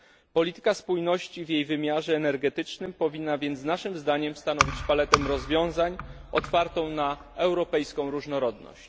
Polityka spójności w jej wymiarze energetycznym powinna więc naszym zdaniem stanowić paletę rozwiązań otwartą na europejską różnorodność.